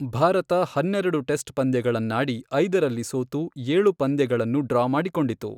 ಭಾರತ ಹನ್ನೆರಡು ಟೆಸ್ಟ್ ಪಂದ್ಯಗಳನ್ನಾಡಿ, ಐದರಲ್ಲಿ ಸೋತು, ಏಳು ಪಂದ್ಯಗಳನ್ನು ಡ್ರಾ ಮಾಡಿಕೊಂಡಿತು.